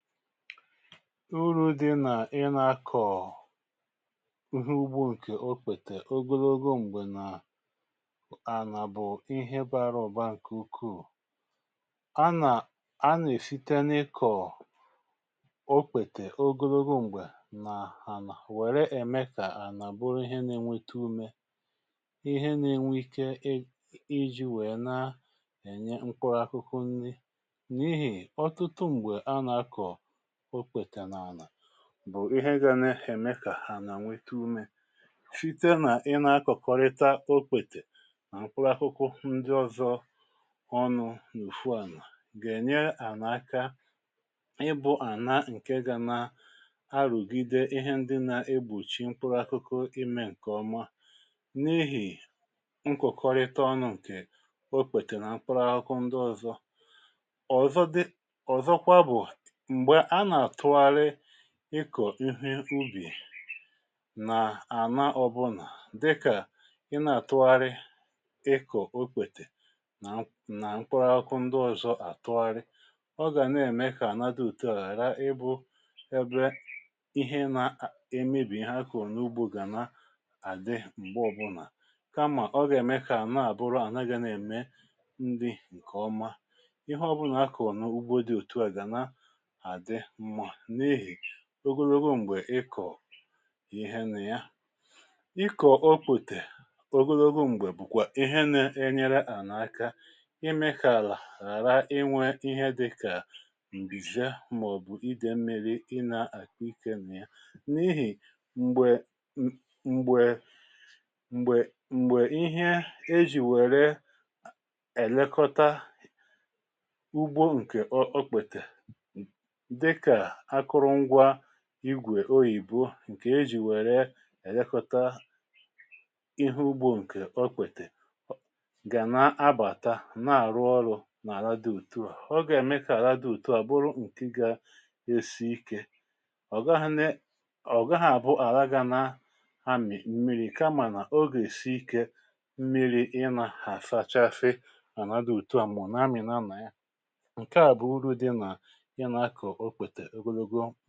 Urù dị nà ị nȧ-akọ̀ uhu ugbo ǹkè o kpètè ogologo m̀gbè nà ànà bụ̀ ihe bȧrȧ ọ̀ba ǹkè ukwuù. A nà a nà-èsite n’ikọ̀ okpètè ogologo m̀gbè nà ànà wère ème kà ànà bụrụ ihe na-enweta umė ihe na-enwe ike ị ịji̇ wèe na ènye nkọ akụkụ nri n’ihì ọtụtụ m̀gbè a nà-akọ̀ okpete na ana bụ̀ ihe gȧ n'ème kà hà nà nwete umė site nà ị nȧ-akọ̀kọrịta okpètè, mkpụrụ akụkụ ndi ọ̇zọ̇ ọnụ̇ n’ofu ànà ga enyè àna aka ị bụ̇ àna ǹke ga nȧ arụ̀gide ihe ndi nà-egbùchi mkpụrụ akụkụ imė ǹkè ọma n’ihì nkòkọrịta ọnụ̇ ǹkè okpètè nà mkpụrụ akụkụ ndi ọ̇zọ̇. Ọ̀zọ dị ọ̀zọkwa bụ̀, mgbe ana atughari ikọ̀ ihe ubì nà-àna ọbụnà dịkà ị na-àtụgharị ịkọ̀ okpètè nà mkpụrụ akụkụ ndị ọzọ̇ àtụgharị, ọ gà ne-ème kà àna di òtù à ghàra ịbụ̇ ebe ihe na-emebì ihe akọrọ n’ugbo gà na-àdị m̀gbe ọbụnà, kamà ọ gà-ème kà àna-àbụrụ àna gȧ na-ème nrị ǹkèọma ihe ọbụnà akọrọ nà ugbo dị otu a ga na adị mma n'ihi ogologo m̀gbè ịkọ̀ ihe nà ya. Ịkọ̀ okpetè ogologo m̀gbè bụ̀kwà ihe ̀ne-enyere ànà aka ime kà àlà ghàra inwė ihe di kà ǹgbìzè, màọ̀bụ̀ idè mmi̇ri̇ ịnȧ àkpa ikė nà ya n’ihì m̀gbè m̀gbè mgbè m̀gbè ihe e jì wère èlekọta ugbo ǹkè okpetè dika akụrụngwa igwè oyìbo ǹkè e jì wèrè èlekọta ihu ugbȯ ǹkè ọkpètè gà na-abàta ǹa-àrụ ọrụ̇ n’àla dị ùtu à. Ọga emėe kà àla dị ùtu à bụrụ ǹkị gȧ esi ikė ọ̀gaghi nė ọ̀gaghụ̇ à bụ àlà gȧ na amì mmiri̇ kamà nà oga èsi ikė mmiri̇ ị nà asachasi ànà dị ùtu à ma ọnà amì na nà ya. Nkea bụ uru dị nà ina akọ okpete ogologo.